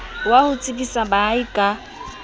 wa ho tsebisa baahi ka